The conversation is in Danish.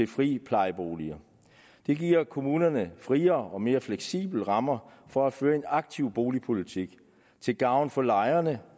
friplejeboliger det giver kommunerne friere og mere fleksible rammer for at føre en aktiv boligpolitik til gavn for lejerne